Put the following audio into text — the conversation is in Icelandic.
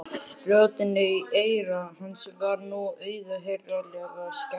Röddinni í eyra hans var nú auðheyrilega skemmt.